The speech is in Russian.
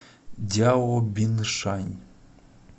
дяобиншань